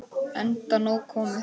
Enda nóg komið.